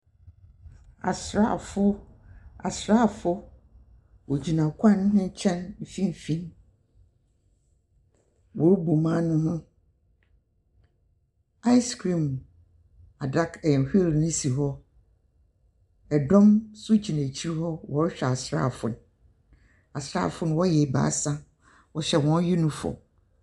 Asraafo gyina kwan no mfinimfini Wohu mmaa no ho asekirimu adaka bi si dɔm nso gyina akyiri wɔ rehwɛ asraafo Asraafo no hyɛ wɔn asraataade.